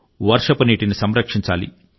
వర్షపు నీటిని సంరక్షించాలి